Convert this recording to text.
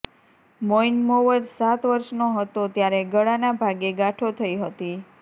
મોઈન મોવર સાત વર્ષનો હતો ત્યારે ગળાના ભાગે ગાંઠો થઈ હતી